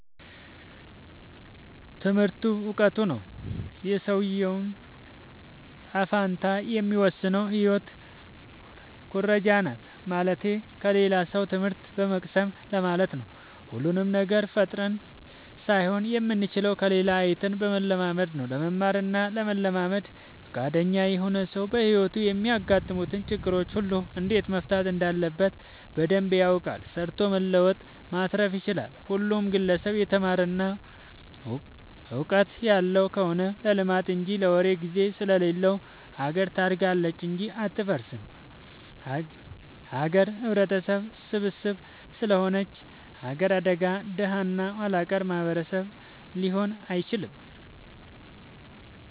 ትምህርቱ እውቀቱ ነው። የሰውዬውን ጣፈንታ የሚወስነው ህይወት ኩረጃናት ማለትቴ ከሌላ ሰው ትምህት በመቅሰም ለማለት ነው። ሁሉንም ነገር ፈጥረን ሳይሆን የምንችለው ከሌላ አይተን በመለማመድ ነው። ለመማር እና ለመልመድ ፍቃደኛ የሆነ ሰው በህይወቱ የሚያጋጥሙትን ችግሮች ሁሉ እንዴት መፍታት እንዳለበት በደንብ ያውቃል ሰርቶ መለወጥ ማትረፍ ይችላል። ሁሉም ግለሰብ የተማረ እና ውቀጥት ያለው ከሆነ ለልማት እንጂ ለወሬ ግዜ ስለሌለው ሀገር ታድጋለች እንጂ አትፈርስም። ሀገር ህብረተሰብ ስብስብ ስለሆነች ሀገር አድጋ ደሀ እና ኋላቀር ማህበረሰብ ሊኖር አይችልም።